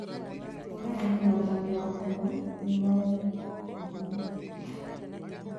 ũragani na ũthami wa andũ nĩ waumĩrire.